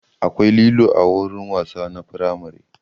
Akwai lilo a wurin wasa na firamare